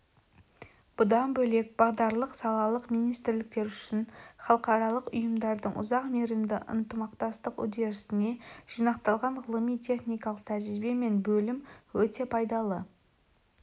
бұдан бөлек бағдарлық салалық министрліктер үшін халықаралық ұйымдардың ұзақ мерзімді ынтымақтастық үдерісінде жинақталған ғылыми-техникалық тәжірибе мен білім өте пайдалы